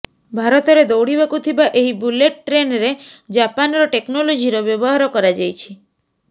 ଭାରତରେ ଦୌଡିବାକୁ ଥିବା ଏହି ବୁଲେଟ୍ ଟ୍ରେନରେ ଜାପାନର ଟେକ୍ନୋଲୋଜିର ବ୍ୟବହାର କରାଯାଇଛି